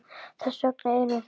Þess vegna erum við þarna.